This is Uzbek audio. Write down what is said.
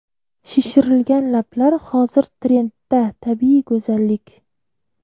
Shishirilgan lablar Hozir trendda tabiiy go‘zallik.